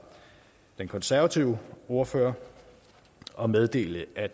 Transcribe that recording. den konservative ordfører og meddele at